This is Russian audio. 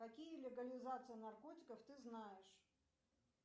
какие легализации наркотиков ты знаешь